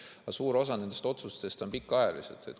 Aga suur osa nendest otsustest on pikaajalised.